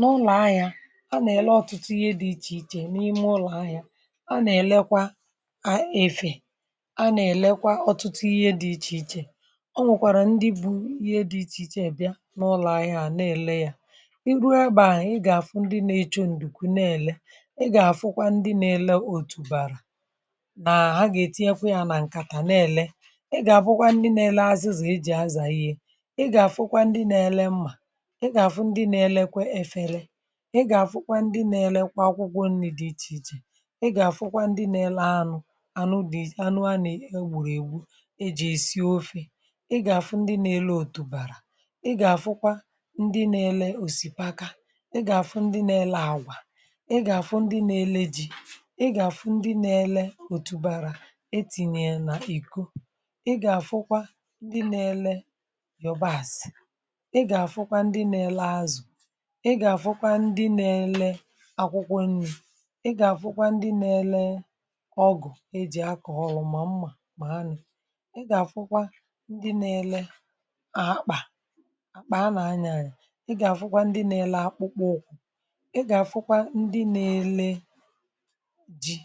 Na ulo ahịa a nà-ele ọ̀tụtụ ihe dị̇ ichè ichè n’ime ụlọ̀ ahịȧ, a nà-èlekwa a efè, a nà-èlekwa ọ̀tụtụ ihe dị̇ ichè ichè o nwèkwàrà ndị bu̇ ihe dị̇ ichè ichè bịa n’ụlọ̀ ahịȧ à na-èle yȧ, i ruo ebe à, ị gà-àfụ ndị na-echu ǹdùkù na-èle, I gà-àfụkwa ndị na-ele òtùbara nà ha gà-ètinyekwu yȧ nà ǹkàtà na-èle, ị gà-àfụkwa ndị na-ele azịzi e jì azà ihe, ị gà-àfụkwa ndị na-ele mmà, ị ga-afụkwa ndị na-elekwa efere, ị gà-àfụkwa ndị na-elekwa akwụkwọ nri̇ dị iche iche, ị ga-afụkwa ndị na-ele anụ anụ dị anụ ana anụ e gbùrù ègbu̇ eji̇ esi̇ ofe, ị ga-afụ ndị na-ele òtùbàrà, ị ga-afụkwa ndị na-ele òsìpaka, ị ga-afụ ndị na-ele àgwà, ị gà-àfụ ndị nȧ-ele ji, ị gà-àfụ ndị na-ele òtùbàrà etinyè nà ìko, ị ga-afụkwa ndị na-ele iyòbàsị̀, ị ga-afụkwa ndị na-ele azụ̀, ị gà-àfụkwa ndị na-ele akwụkwọ ǹrì, ị gà-àfụkwa ndị nȧ-ėlė ọgụ̀ e jì akọ̀ ọlụ mà mmà mànị̀, ị gà-àfụkwa ndị nȧ-ėlė à kpà àkpà a nà anyànya, ị gà-àfụkwa ndị nȧ-ėlė akpụkpọ ụkwụ̇, ị gà-àfụkwa ndị nȧ-ėlė jì,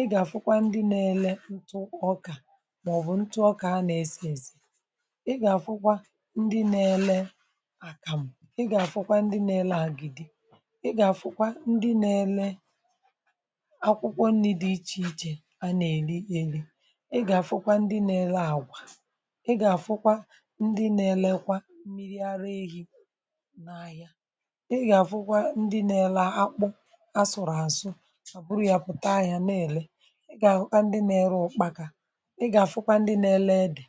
ị gà-àfụkwa ndị nȧ-ėlė ǹtụ ọkà màọ̀bụ̀ ǹtụ ọkà a nà-èsi èsi, ị gà-àfụkwa ndị nȧ-ėlė àkàmu, ị gà-àfụkwa ndị nȧ-ėlė agidi, ị gà-àfụkwa ndị na-ele akwụkwọ nni̇ dị ichè ichè a nà-èri èri, ị gà-àfụkwa ndị nȧ-ėle àgwà, ị gà-àfụkwa ndị nȧ-ėlekwa mmiri ara ehi̇ nà-ahịa, ị gà-àfụkwa ndị nȧ-ėle akpụ asụ̀rụ̀ àsụ ha bụrụ yȧ pụ̀ta ahịa nà-èle, ị gà-àfụkwa ndị nȧ-ėle ụ̀kpaka, ị gà-àfụkwa ndị nȧ-ėle ède,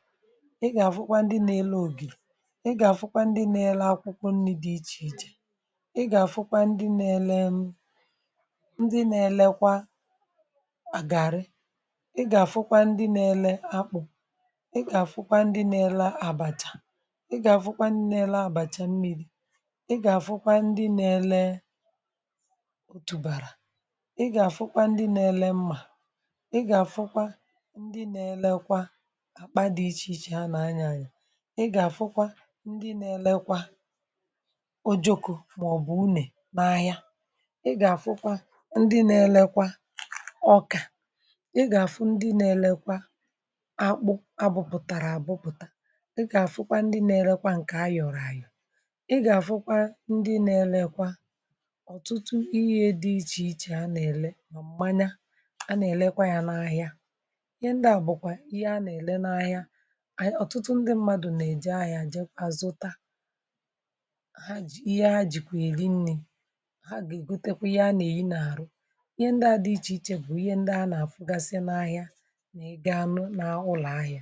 ị gà-àfụkwa ndị nȧ-ėle ògìrì, ị gà-àfụkwa ndị nȧ-ėle akwụkwọ nni̇ dị ichè ichè, ị gà-àfụkwa ndị na-ele m ndị na-elekwa garri, ị gà-àfụkwa ndị na-ele akpụ̀, ị gà-àfụkwa ndị na-ele àbàchà, ị gà-àfụkwa ndị na-ele àbàchà mmi̇ri̇, ị gà-àfụkwa ndị na-ele otùbàrà, ị gà-àfụkwa ndị na-ele mmà, ị gà-àfụkwa ndị na-elekwa àkpa dị̇ ichè ichè a nà anyanya, ị gà-àfụkwa ndị na-elekwa ojòkù maòbù une nà-ahịa, ị gà-àfụkwa ndị nȧ-elekwa ọkà, ị gà-àfụ ndị nȧ-elekwa akpụ abụpụ̀tàrà àbụpụ̀ta, ị gà-àfụkwa ndị nȧ-elekwa ǹkè a yọ̀rọ̀ àyọ̀, ị gà-àfụkwa ndị nȧ-elekwa ọ̀tụtụ ihe dị ichè ichè a nà-èle nà m̀manya a nà-èlekwa ya n’ahịa ihe ndịà bụ̀kwà ihe a nà-èle n’ahịa àyị ọ̀tụtụ ndị mmadụ̀ nà-èje ahịa jè kwa zuta ha ji ihe ha jikwa eri nri, ha gà-ègotekwa ihe a nà-èyi n’àrụ. Ihe ndị a dị ichè ichè bụ̀ ihe ndị a nà-àfụgasị n’ahịa na ị gaa nụ̇ nà ụlọ̀ ahịa.